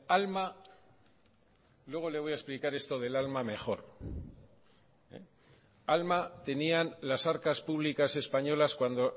alma luego le voy a explicar esto del alma mejor alma tenían las arcas públicas españolas cuando